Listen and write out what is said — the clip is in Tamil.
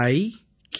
yuvika